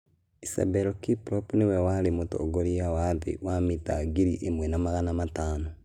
Asbel Kiprop nĩ we warĩ mũtongoria wa thĩ wa mita ngiri imwe na magana matano